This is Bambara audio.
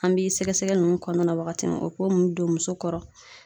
An bi sɛgɛ sɛgɛli ninnu kɔnɔna la wagati min na o k'o mun don muso kɔrɔ